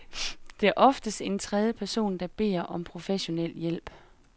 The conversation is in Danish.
Det er oftest en tredje person, der beder om professionel hjælp.